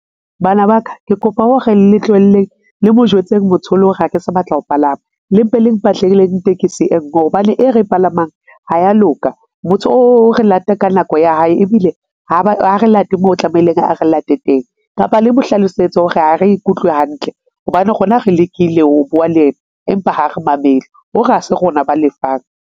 Bana ba ka, ke kopa ho re le tlohelleng le mo jwetseng motho o le ho re ha ke sa batla ho palama le mpe le mpatleleng tekesi e nngwe hobane e re palamang ha ya loka. Motho o re lata ka nako ya hae ebile ha re late moo tlamehileng a re late teng kapa le mo hlalosetse hore ha re ikutlwe hantle hobane rona re lekile ho bua le ena, empa ha re mamele o re ha se rona ba lefang.